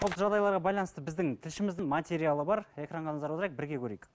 жағдайларға байланысты біздің тілшіміздің материалы бар экранға назар аударайық бірге көрейік